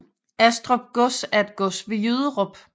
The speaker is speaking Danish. Astrup Gods er et gods ved Jyderup